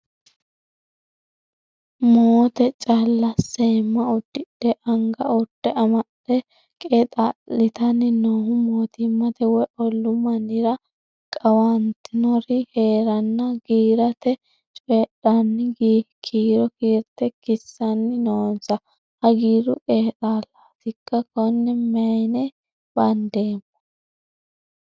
Moote callq seema udidhe anga urde amade qeexalittanni noohu mootimmate woyi ollu mannira qawantinori heerenna giirate coyidhanni kiiro kiirte kisanni noonso hagiiru qeexxalatikka ,kone mayinni bandeemmo ?